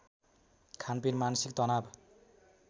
खानपिन मानसिक तनाव